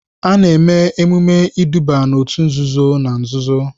A na-eme emume iduba n'òtù nzuzo na nzuzo.